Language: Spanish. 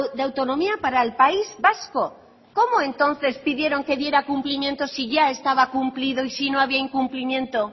de autonomía para el país vasco cómo entonces pidieron que diera cumplimiento si ya estaba cumplido y si no había incumplimiento